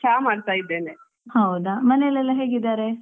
ಹೌದಾ ಮನೇಲೆಲ್ಲಾ ಹೇಗಿದ್ದಾರೆ?